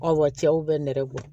wa cɛw bɛ nɛrɛ bɔ